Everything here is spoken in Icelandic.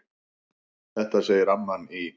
Þetta segir amman í